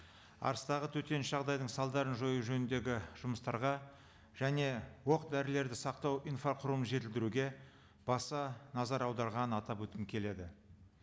арыстағы төтенше жағдайдың салдарын жою жөніндегі жұмыстарға және оқ дәрілерді сақтау инфрақұрылымын жетілдіруге баса назар аударғанын атап өткім келеді